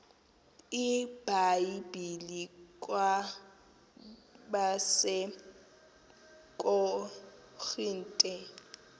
ibhayibhile kwabase korinte